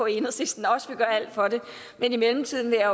enhedslisten også vil gøre alt for det men i mellemtiden vil jeg